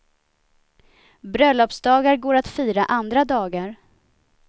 Bröllopsdagar går att fira andra dagar.